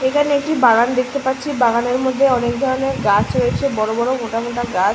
এখানে একটি বাগান দেখতে পাচ্ছি বাগানের মধ্যে অনেক ধরনের গাছ রয়েছে। বড় বড় মোটা মোটা গাছ।